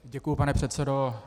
Děkuji, pane předsedo.